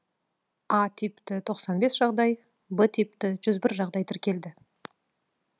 а типті тоқсан бес жағдай б типті жүз бір жағдай тіркелді